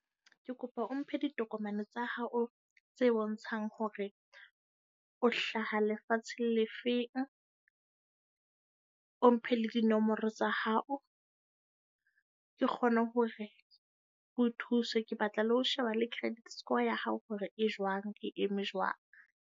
Ke kopa o mphe ditokomane tsa hao tse bontshang hore o hlaha lefatshe le feng. O mphe le dinomoro tsa hao. Ke kgone hore ke o thuse. Ke batla le ho sheba le credit score ya hao, hore e jwang, e eme jwang.